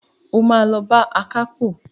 O máa lọ bá akápò.